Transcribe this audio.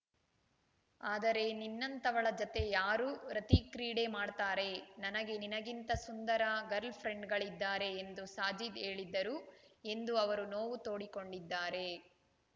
ಆದರೆ ನಿನ್ನಂಥವಳ ಜತೆ ಯಾರು ರತಿಕ್ರೀಡೆ ಮಾಡ್ತಾರೆ ನನಗೆ ನಿನಗಿಂತ ಸುಂದರ ಗಲ್‌ರ್‍ಫ್ರೆಂಡ್‌ಗಳಿದ್ದಾರೆ ಎಂದು ಸಾಜಿದ್‌ ಹೇಳಿದ್ದರು ಎಂದು ಅವರು ನೋವು ತೋಡಿಕೊಂಡಿದ್ದಾರೆ